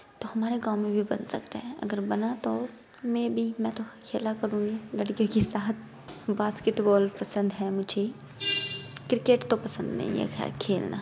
यह तो हमारे गाँव में भी बन सकता है। अगर बना तो मै बी मैं तो खेला करूंगी लड़कियों के साथ बास्केटबॉल पसंद है मुझे क्रिकेट तो पसंद नहीं है खैर खेलना।